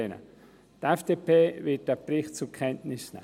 Die FDP wird diesen Bericht zur Kenntnis nehmen.